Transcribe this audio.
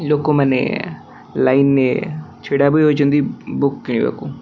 ଲୋକମାନେ ଲାଇନିଏ ଛିଡା ହୋଇ ହୋଇଛନ୍ତି ବୁକ୍ କିଣିବାକୁ।